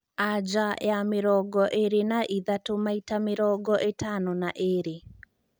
anja ya mĩrongo ĩrĩ na ĩthatũ maĩta mĩrongo ĩtano na ĩrĩĩ